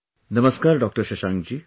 Namaskar Dr Shashank ji